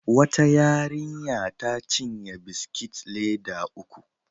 Wata yarinya ta cinye biskit leda uku.